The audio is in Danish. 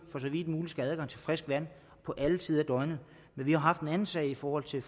så vidt muligt skal have adgang til frisk vand på alle tider af døgnet men vi har haft en anden sag i forhold til